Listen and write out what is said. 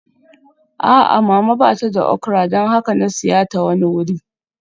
A'a, Mama ba ta da okra don haka na siya ta wani wuri